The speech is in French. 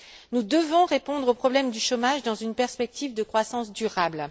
Nous devons répondre au problème du chômage dans une perspective de croissance durable.